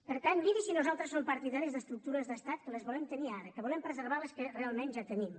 per tant miri si nosaltres som partidaris d’estructures d’estat que les volem tenir ara que volem preservar les que realment ja tenim